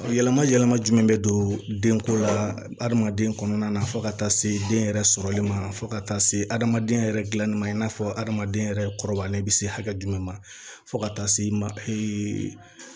Yɛlɛma yɛlɛma jumɛn bɛ don denko la hadamaden kɔnɔna na fo ka taa se den yɛrɛ sɔrɔli ma fo ka taa se adamadenya yɛrɛ gilanni ma i n'a fɔ adamaden yɛrɛ kɔrɔbayalen be se hakɛ jumɛn ma fo ka taa se ma ee